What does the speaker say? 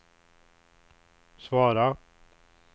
svara